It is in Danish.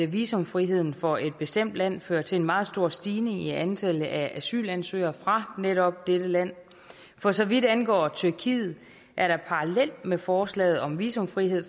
visumfriheden for et bestemt land fører til en meget stor stigning i antallet af asylansøgere fra netop dette land for så vidt angår tyrkiet er der parallelt med forslaget om visumfrihed